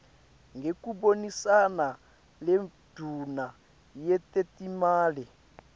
ngekubonisana nendvuna yetetimali